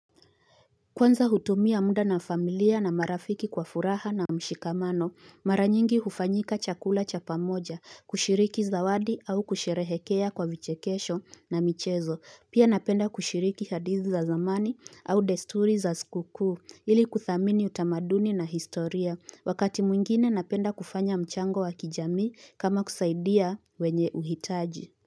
Kwanza hutumia muda na familia na marafiki kwa furaha na mshikamano mara nyingi hufanyika chakula cha pamoja kushiriki zawadi au kusherehekea kwa vichekesho na michezo pia napenda kushiriki hadithi za zamani au desturi za sikukuu ili kudhamini utamaduni na historia wakati mwingine napenda kufanya mchango wa kijamii kama kusaidia wenye uhitaji.